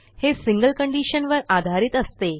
हे single condition वर आधारित असते